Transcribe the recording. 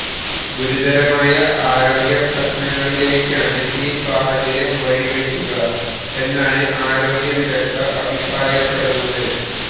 ഗുരുതരമായ ആരോഗ്യ പ്രശ്നങ്ങളിലേക്കാണ് ഈ സാഹചര്യം വഴിവെക്കുക എന്നാണ് ആരോഗ്യ വിദഗ്ധര് അഭിപ്രായപ്പെടുന്നത്